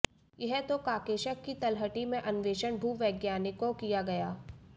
यह तो काकेशस की तलहटी में अन्वेषण भूवैज्ञानिकों किया गया